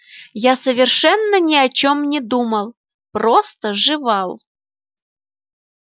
я совершенно ни о чём не думал просто жевал